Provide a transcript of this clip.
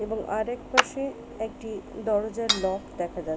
এবং আরেক পাশে একটি দরজার লক দেখা যাচ--